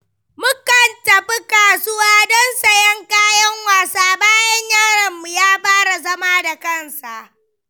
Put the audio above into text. Mukan tafi kasuwa don sayen kayan wasa bayan yaronmu ya fara zama da kansa.